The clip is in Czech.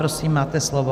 Prosím, máte slovo.